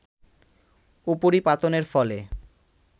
উপরিপাতনের ফলে